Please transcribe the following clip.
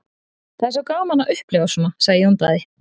Það er gaman að upplifa svona, sagði Jón Daði.